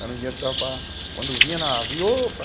Era um dinheiro que dava para... Quando vinha navio, opa!